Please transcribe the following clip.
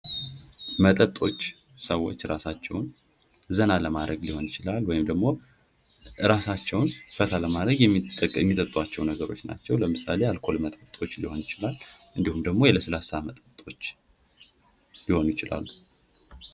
መጠጦች ሰወች እራሳቸውን ዘና ለማድረግ ሊሆን ይችላል። ወይም ደግሞ እራሳቸውን ፈታ ለማድረግ የሚጠጧቸው ነገሮች ናቸው ለምሳሌ የአልኮል መጠጦች ሊሆን ይችላል። እንዲሁም የለስላሳ መጠጦች ሊሆኑ ይችላሉ።